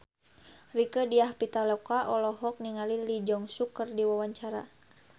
Rieke Diah Pitaloka olohok ningali Lee Jeong Suk keur diwawancara